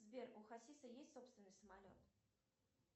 сбер у хасиса есть собственный самолет